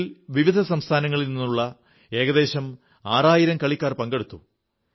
ഇതിൽ വിവിധ സംസ്ഥാനങ്ങളിൽ നിന്നുള്ള ഏകദേശം ആറായിരം കളിക്കാർ പങ്കെടുത്തു